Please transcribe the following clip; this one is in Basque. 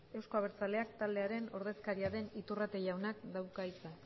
euzko abertzaleak taldearen ordezkaria den iturrate jaunak dauka hitza